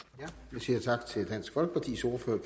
jeg siger tak til dansk folkepartis ordfører